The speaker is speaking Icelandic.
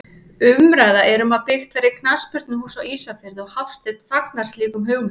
Umræða er um að byggt verði knattspyrnuhús á Ísafirði og Hafsteinn fagnar slíkum hugmyndum.